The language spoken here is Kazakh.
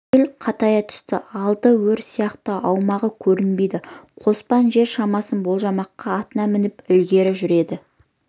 жел қатая түсті алды өр сияқты аумағы көрінбейді қоспан жер шамасын болжамаққа атына мініп ілгері жүрді